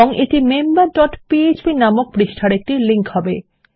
এবং এটি member dot PHP নামক পৃষ্ঠার একটি লিংক হবে